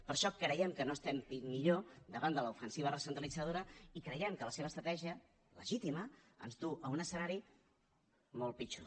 per això creiem que no estem millor davant de l’ofensiva recentralitzadora i creiem que la seva estratègia legítima ens du a un escenari molt pitjor